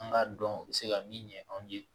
An k'a dɔn u bɛ se ka min ɲɛ anw ye